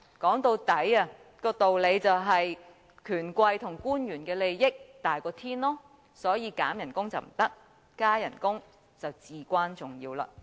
說到底，道理便是權貴和官員的利益大過天，所以削減薪酬不行，加薪則至關重要。